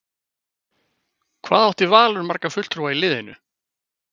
Hvað átti Valur marga fulltrúa í liðinu?